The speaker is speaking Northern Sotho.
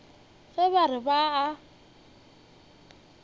ge ba re ba a